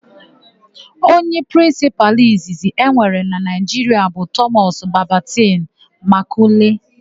Onye prịnsịpalụ izizi e nwere na Naịjiria bụ Tọmọs Babịntịn Makọle.